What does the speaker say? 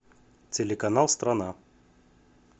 телеканал страна